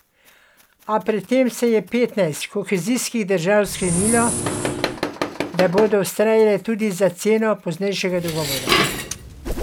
A pred tem je petnajst kohezijskih držav sklenilo, da bodo vztrajale tudi za ceno poznejšega dogovora.